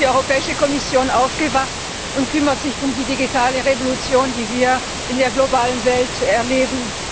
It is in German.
Endlich ist die Kommission aufgewacht und kümmert sich um die digitale Revolution, die wir in der globalen Welt erleben.